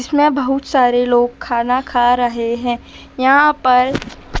इसमें बहुत सारे लोग खाना खा रहे हैं यहां पर--